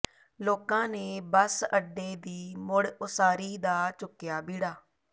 ਲੋਕਾਂ ਨੇ ਬੱਸ ਅੱਡੇ ਦੀ ਮੁੜ ਉਸਾਰੀ ਦਾ ਚੁੱਕਿਆ ਬੀੜਾ